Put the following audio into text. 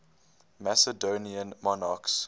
macedonian monarchs